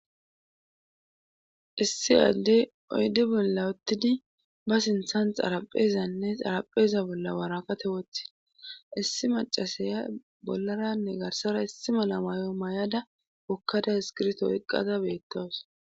Issi aaddey oydi bolla wottidi ba sinthanh xaraphezanne xarapheza bolla waraqate woththi issi macasaya bollaranne garsara issi mala mayo may7ada wokkada iskirto eqqada beettawus